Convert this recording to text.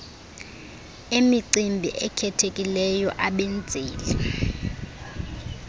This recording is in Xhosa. emicimbi ekhethekileyo abenzeli